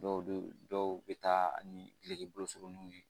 Dɔw bɛ dɔw bɛ taa ni duloki bolo suruninw ye